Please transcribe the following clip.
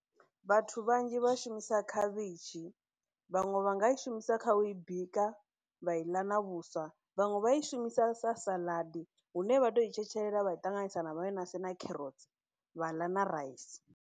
Vhathu vhanzhi vhashumisa khavhishi vhaṅwe vha nga i shumisa kha u i bika vha i ḽa na vhuswa vhaṅwe vha ishumisa sa saḽadi hune vha to i tshetshelela vha i ṱanganisa na vhayonasi na kherotsi vha ḽa na raisi.